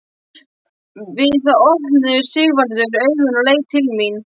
Við það opnaði Sigvarður augun og leit til mín.